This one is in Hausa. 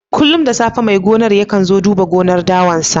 Kullum da safe mai gonar yakan zo duba gonar dawan sa.